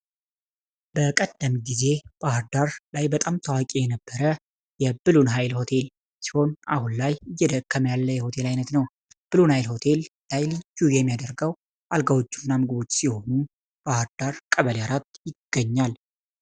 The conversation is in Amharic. በቀደምት ጊዜ ባህርዳር ላይ በጣም ታዋቂ የነበረ የብሉን ኃይል ሆቴል ሲሆን አሁን ላይ እየደከመ ያለ የሆቴል ዓይነት ነው ። ብሉ ናይል ሆቴል ልዩ የሚያደርገው አልጋዎቹና ምግቦቹ ሲሆኑ ባህርዳር ቀበሌ 4 ይገኛል።